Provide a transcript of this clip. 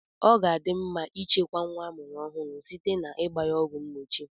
Ọ ga-adị mma ịchekwa nwa amụrụ ọhụrụ site n'igba ọgwụ mgbochi.